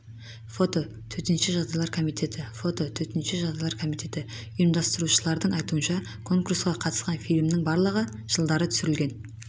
фото төтенше жағдайлар комитеті фото төтенше жағдайлар комитеті ұйымдастырушылардың айтуынша конурсқа қатысқан фильмнің барлығы жылдары түсірілген